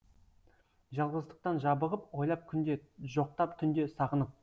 жалғыздықтан жабығып ойлап күнде жоқтап түнде сағынып